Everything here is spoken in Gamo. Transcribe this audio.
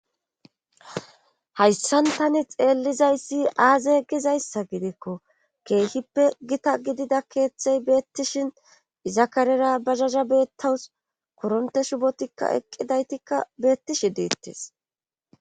Hayssan tani xeellizayssi aaze gizayssa gidikko keehippe gita gidida keeththey beettishin izakarera bazaza beettawus koronte shubotikka eqqidaytikka beettishi diittes